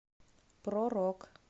про рок